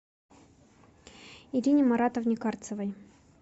ирине маратовне карцевой